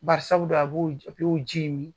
Bari sabu dun a b'o ji in mi.